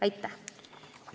Aitäh!